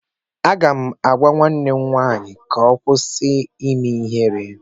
Aga m agwa nwa m nwaanyị ka ọ kwụsị ime ihere